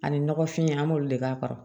Ani nɔgɔfin an b'olu de k'a kɔrɔ